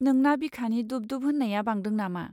नोंना बिखानि दुब दुब होन्नाया बांदों नामा?